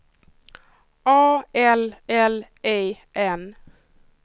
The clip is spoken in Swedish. A L L E N